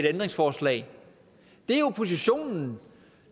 ændringsforslag der